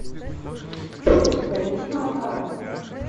валентина макарова